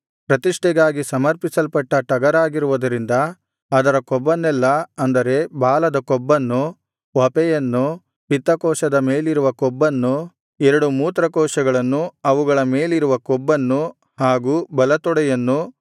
ಪ್ರತಿಷ್ಠೆಗಾಗಿ ಸಮರ್ಪಿಸಲ್ಪಟ್ಟ ಟಗರಾಗಿರುವುದರಿಂದ ಅದರ ಕೊಬ್ಬನ್ನೆಲ್ಲಾ ಅಂದರೆ ಬಾಲದ ಕೊಬ್ಬನ್ನು ವಪೆಯನ್ನು ಪಿತ್ತಕೋಶದ ಮೇಲಿರುವ ಕೊಬ್ಬನ್ನು ಎರಡು ಮೂತ್ರಕೋಶಗಳನ್ನು ಅವುಗಳ ಮೇಲಿರುವ ಕೊಬ್ಬನ್ನು ಹಾಗೂ ಬಲತೊಡೆಯನ್ನು